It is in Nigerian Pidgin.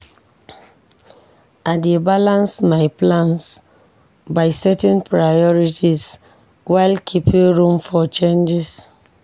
I dey balance my plans by setting priorities while keeping room for changes.